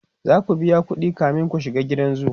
zaku biya ƙuɗi kamin ku shiga gidan zoo